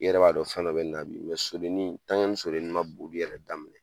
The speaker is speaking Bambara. I yɛrɛ b'a dɔn fɛn dɔ be nin na bi. sodenin ni sodenin ma boli yɛrɛ daminɛ